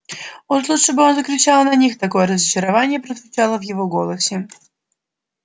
уж лучше бы он закричал на них такое разочарование прозвучало в его голосе